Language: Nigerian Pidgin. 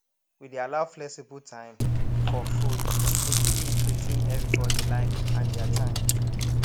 we dey allow flexible time for food make e fit wetin everyone like and dia time